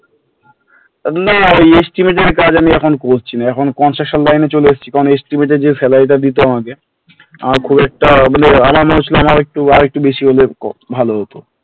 না Estimaton এর কাজ আমি এখন করছিনা এখন construction line এ চলে এসছি কারণ estimate এর যে salary টা দিত আমাকে আমার খুব একটা মানে আমার মনে হয়েছিল আমার আর একটু বেশি হলে ভালো হত,